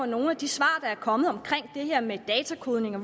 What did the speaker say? nogle af de svar der er kommet om det her med datakodning